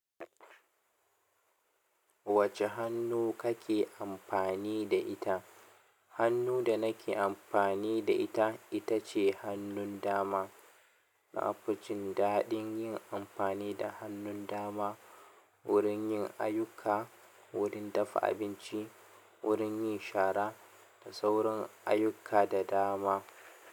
Wace hannu kake amfani da ita? Hannu da nake amfani da ita, itace hannun dama na fi jin daɗin yin amfani da hannun dama wurin yin ayyuka wurin dafa abinci, wurin yin shara da sauran ayyuka da dama.